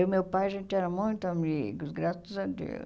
Eu e meu pai, a gente era muito amigos, graças a Deus.